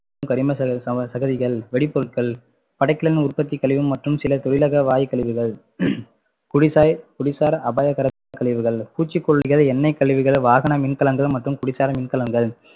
கரிம ச~சம~ சகதிகள், வெடிபொருட்கள், படைக்கலன் உற்பத்தி கழிவு மற்றும் சில தொழிலக வாயுக் கழிவுகள் குடிசை குடிசை~ குடிசார் அபாயகர கழிவுகள், பூச்சிகொல்லிகள், எண்ணெய்க் கழிவுகள், வாகன மின்கலங்கள் மற்றும் குடிசார மின்கலங்கள்